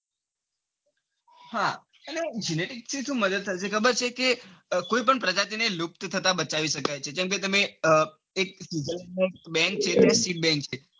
હા અને genetic થી સુ મદદ થાય છે. ખબર છે કે કોઈ પણ પ્રજાતિને લુપ્ત થતા બચાવી શકાય છે. જેમ કે તમે ના બન બેન છ.